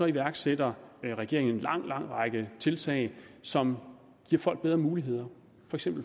iværksætter regeringen en lang lang række tiltag som giver folk bedre muligheder